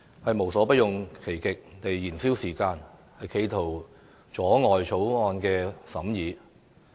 他們無所不用其極來燃燒時間，企圖阻撓我們審議《條例草案》。